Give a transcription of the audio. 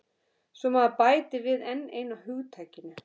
Svo maður bæti við enn einu hugtakinu.